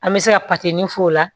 An bɛ se ka f'o la